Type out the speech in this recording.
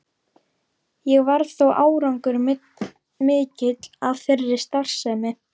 Ekki varð þó árangur mikill af þeirri starfsemi.